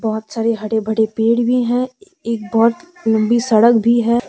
बहुत सारे हरे भरे पेड़ भी है एक बहुत लंबी सड़क भी है।